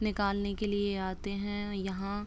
निकालने के लिए ये आते हैं यहाँ --